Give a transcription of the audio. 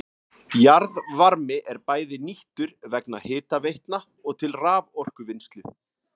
Jarðvarmi er bæði nýttur vegna hitaveitna og til raforkuvinnslu.